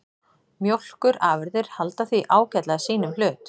Mjólkurafurðir halda því ágætlega sínum hlut